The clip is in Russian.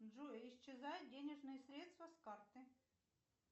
джой исчезают денежные средства с карты